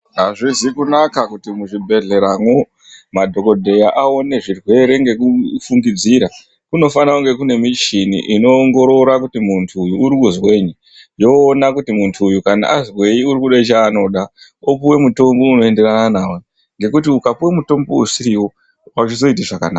Azvizi kunaka kuti muzvibhedhleramo madhokodheya aone zvirwere ngekufungidzira kuno fana kunge kune michini inoongorora kuti muntu uyu urikuzwenyi yoona kuti muntu uyu kana azwenyi urikudechaanoda opuwe mutombo unoenderana nawo ngekuti ukapuwe mutombo usiriwo azvizoiti zvakanaka.